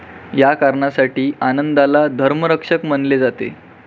या कारणासाठी आनंदला धर्मरक्षक म्हणले जाते.